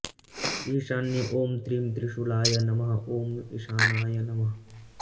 ईशान्ये ॐ त्रिं त्रिशूलाय नमः ॐ ईशानाय नमः